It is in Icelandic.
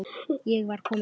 Ég var komin heim.